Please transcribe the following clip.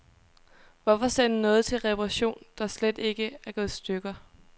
Hvorfor sende noget til reparation, der slet ikke er gået i stykker.